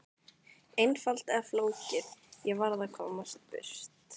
Einfalt eða flókið, ég varð að komast burt.